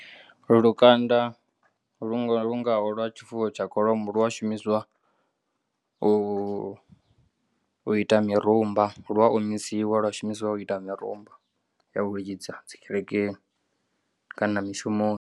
Lukanda lu ngaho lwa tshifuwo tsha kholomo lu a shumisiwa u ita mirumba lu a omisiwa lwa shumisiwa u ita mirumba ya u lidza dzi kerekeni kana mishumoni.